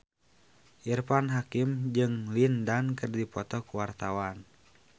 Irfan Hakim jeung Lin Dan keur dipoto ku wartawan